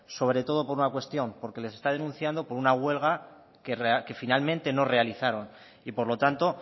sobre todo por una cuestión porque les está denunciando por una huelga que finalmente no realizaron y por lo tanto